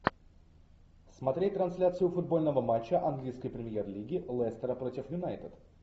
смотреть трансляцию футбольного матча английской премьер лиги лестера против юнайтед